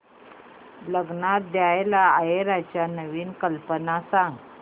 लग्नात द्यायला आहेराच्या नवीन कल्पना सांग